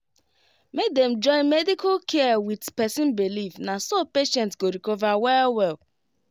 make dem join medical care with person believe na so patient go recover well well